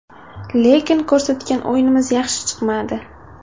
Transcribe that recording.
Lekin ko‘rsatgan o‘yinimiz yaxshi chiqmadi.